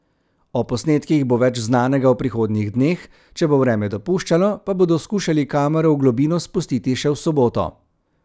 O posnetkih bo več znanega v prihodnjih dneh, če bo vreme dopuščalo, pa bodo skušali kamero v globino spustiti še v soboto.